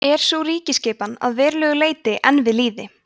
er sú ríkjaskipan að verulegu leyti enn við lýði